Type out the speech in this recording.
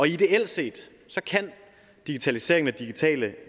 ideelt set kan digitaliseringen og digitale